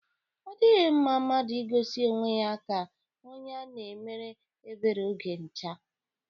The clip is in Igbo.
O dighi mma mmadu igosi onwe ya ka onye a na-emere ebere oge ncha.